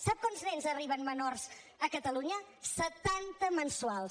sap quants nens arriben menors a catalunya setanta mensuals